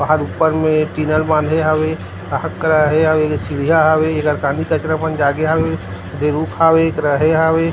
बहारऊपर म टीना बंधे हवे सीढ़िया हवे रहे हवे ।.